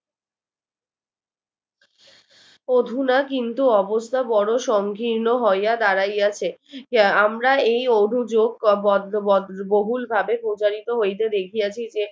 অধুনা কিন্তু অবস্থা বড় সংকীর্ণ হইয়া দাঁড়াইয়াছে আমরা এই অভিযোগ বহুল ভাবে প্রচারিত হইতে দেখিয়াছি যে